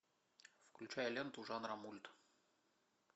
включай ленту жанра мульт